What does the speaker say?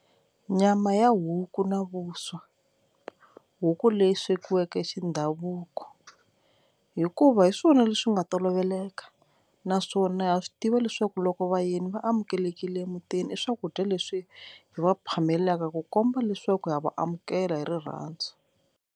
Nyama ya huku na vuswa huku leyi swekiweke xi ndhavuko hikuva hi swona leswi nga toloveleka naswona ha swi tiva leswaku loko vayeni va amukelekile emutini i swakudya leswi hi va phamelaka ku komba leswaku ya va amukela hi rirhandzu.